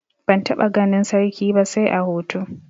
Ban taɓa ganin sarki ba sai a hoto.